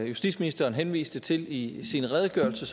justitsministeren henviste til i sin redegørelse